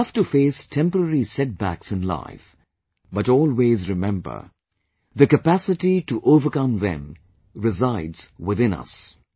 We have to face temporary setbacks in life... but always remember the capacity to overcome them resides within us